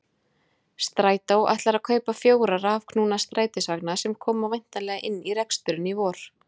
Strætó ætlar að kaupa fjóra rafknúna strætisvagna sem koma væntanlega inn í reksturinn í vor.